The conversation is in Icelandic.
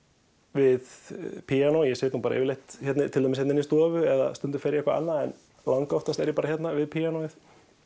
við píanó ég sit nú yfirleitt til dæmis hérna inni í stofu eða stundum fer ég annað en langoftast er ég bara hérna við píanóið